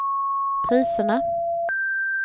priserna